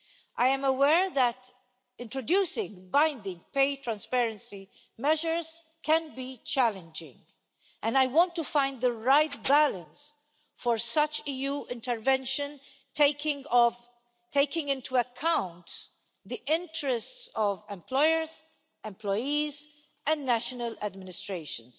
I am aware that introducing binding pay transparency measures can be challenging, and I want to find the right balance for such EU intervention, taking into account the interests of employers, employees and national administrations.